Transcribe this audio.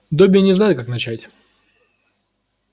добби не знает как начать